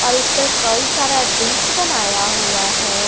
और इस पर कई सारा डिश बनाया हुआ है।